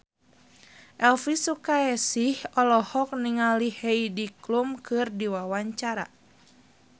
Elvi Sukaesih olohok ningali Heidi Klum keur diwawancara